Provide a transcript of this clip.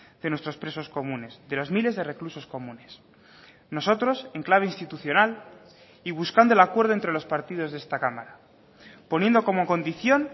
de nuestros presos comunes de los miles de reclusos comunes nosotros en clave institucional y buscando el acuerdo entre los partidos de esta cámara poniendo como condición